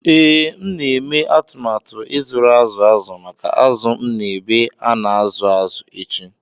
ee,M na-eme atụmatụ ịzụrụ azụ̀ azụ̀ maka azụ̀ m N’ebe a na-azụ azụ̀ n’echi.